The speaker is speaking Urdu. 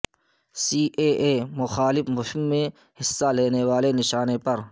سی اے اے مخالف مہم میں حصہ لینے والے نشانہ پر